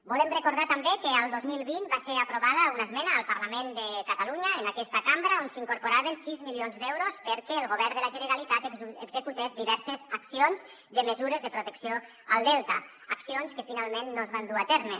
volem recordar també que el dos mil vint va ser aprovada una esmena al parlament de catalunya en aquesta cambra on s’incorporaven sis milions d’euros perquè el govern de la generalitat executés diverses accions de mesures de protecció al delta accions que finalment no es van dur a terme